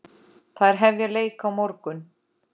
Þær hefja leik á morgun.